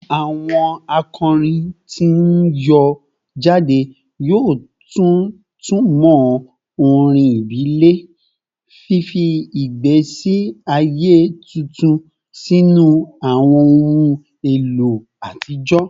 Awọn akọrin ti n yọ jade yoo tuntumọ orin ibile, fifi igbesi aye tuntun sinu awọn ohun elo atijọ